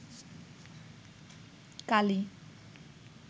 কালি